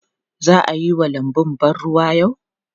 Za a yi wa lanbun ban ruwa yau?